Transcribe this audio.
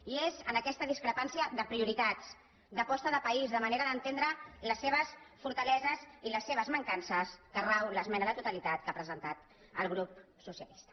i és en aquesta discrepància de prioritats d’aposta de país de manera d’entendre les seves fortaleses i les seves mancances on rau l’esmena a la totalitat que ha presentat el grup socialista